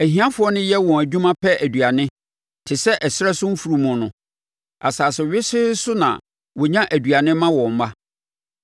Ahiafoɔ no yɛ wɔn adwuma pɛ aduane te sɛ ɛserɛ so mfunumu no; asase wesee no so na wɔnya aduane ma wɔn mma.